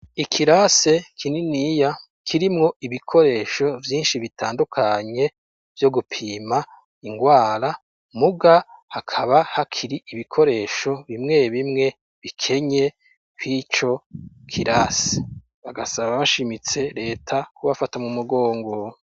Ikirase kininiya kirimwo ibikoresho vyinshi bitandukanye vyo gupima ingwara muga hakaba hakiri ibikoresho bimwe bimwe bikenye kw'ico kirasi bagasaba bashimitse reta kubafata mu mugongo